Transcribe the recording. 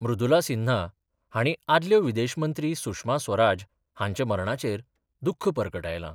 मृदुला सिन्हा हांणी आदल्यो विदेश मंत्री सुषमा स्वराज हांच्या मरणाचेर दुख्ख परगटायलां.